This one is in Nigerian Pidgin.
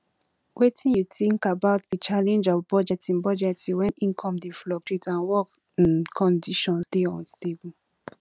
wetin you think about di challenge of budgeting budgeting when income dey fluctuate and work um conditions dey unstable